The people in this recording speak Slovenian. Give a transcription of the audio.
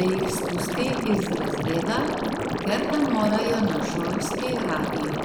da jih spusti iz razreda, ker da morajo na šolski radio.